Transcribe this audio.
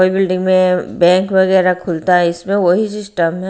Building में bank वगैरह खुलता है इसमें वही सिस्टम है।